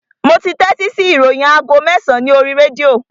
Mo tẹ́tí sí ìròyìn aago mẹ́sàn-án ní oríi rédíò